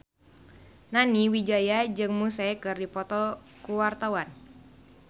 Nani Wijaya jeung Muse keur dipoto ku wartawan